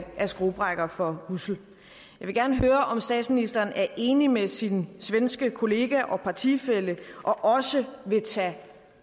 skruebrækkere for ussel jeg vil gerne høre om statsministeren er enig med sin svenske kollega og partifælle og også vil tage